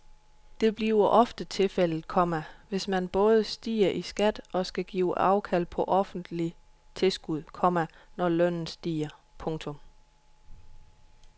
Det bliver ofte tilfældet, komma hvis man både stiger i skat og skal give afkald på offentlige tilskud, komma når lønnen stiger. punktum